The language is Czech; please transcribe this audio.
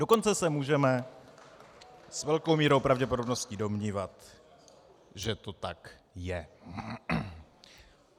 Dokonce se můžeme s velkou mírou pravděpodobnosti domnívat, že to tak je.